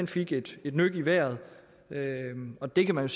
fik et nyk i vejret og det kan man